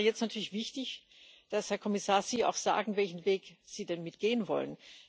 Und es wäre jetzt natürlich wichtig, dass Sie, Herr Kommissar, auch sagen, welchen Weg Sie denn mitgehen wollen.